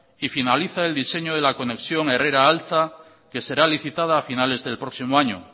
y finaliza el diseño de la conexión de herrera altza que será licitada a finales del próximo año